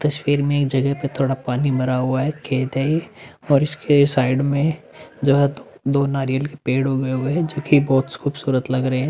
तस्वीर मे एक जगह पे थोड़ा पानी भरा हुआ है खेत है और इसके साइड मे जो है दो नारियल के पेड़ उगे हुए है जोकि बहोत खूबसूरत लग रहे हैं।